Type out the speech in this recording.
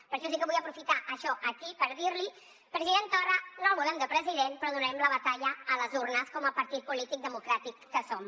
per això sí que vull aprofitar això aquí per dir li president torra no el volem de president però donarem la batalla a les urnes com a partit polític democràtic que som